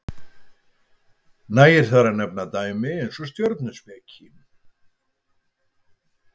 nægir þar að nefna dæmi eins og stjörnuspeki